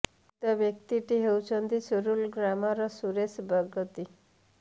ମୃତ ବ୍ୟକ୍ତି ଟି ହେଉଛନ୍ତି ସିରୁଲ୍ ଗ୍ରାମ ର ସୁରେଶ ବଗର୍ତ୍ତୀ